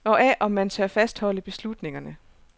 Og af, om man tør fastholde beslutningerne.